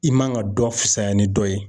I man ka dɔ fisayaya ni dɔ ye.